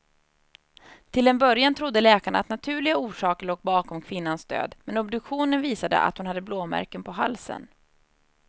Till en början trodde läkarna att naturliga orsaker låg bakom kvinnans död, men obduktionen visade att hon hade blåmärken på halsen.